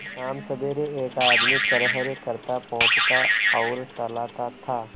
शामसबेरे एक आदमी खरहरे करता पोंछता और सहलाता था